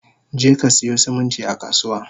Jeka siyo siminti a kasuwa!